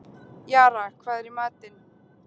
Jara, hvað er í matinn?